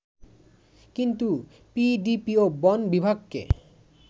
কিন্তু পিডিপি ও বন বিভাগকে